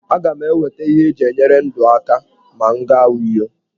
Aga m enweta ihe eji enyere ndụ aka ma m gaa Uyo.